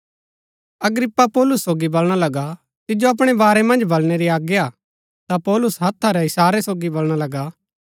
अग्रिप्पा पौलुस सोगी बलणा लगा तिजो अपणै बारै मन्ज बलणै री आज्ञा हा ता पौलुस हत्था रै इशारै सोगी बलणा लगा